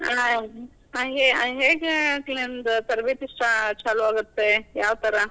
ಆ ಹೇ~ ಹೇಗೆ ನಿಮ್ದ್ ತರಬೇತಿ ಸ್ಟ್~ ಚಾಲೂ ಆಗುತ್ತೆ, ಯಾವ ಥರಾ?